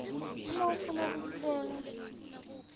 uma ufuna kutsenga